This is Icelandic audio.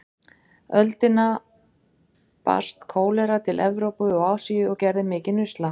öldina barst kólera til Evrópu og Asíu og gerði mikinn usla.